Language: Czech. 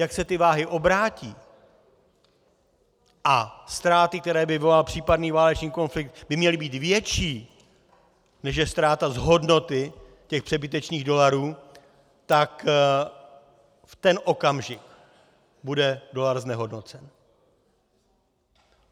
Jak se ty váhy obrátí a ztráty, které by vyvolal případný válečný konflikt, by měly být větší, než je ztráta z hodnoty těch přebytečných dolarů, tak v ten okamžik bude dolar znehodnocen.